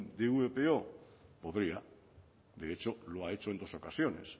de vpo podría de hecho lo ha hecho en dos ocasiones